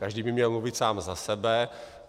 Každý by měl mluvit sám za sebe.